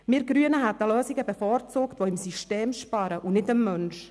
Wir Grünen hätten Lösungen bevorzugt, die am System sparen und nicht am Menschen.